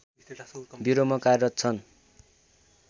ब्युरोमा कार्यरत छन्